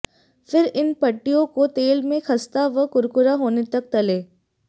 फिर इन पट्टियों को तेल में खस्ता व कुरकुरा होने तक तलें